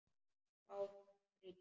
Bátnum brýnt.